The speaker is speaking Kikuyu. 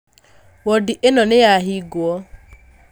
Wondi ĩno nĩyahingwo